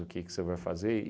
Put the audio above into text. O que que você vai fazer?